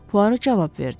Puaro cavab verdi.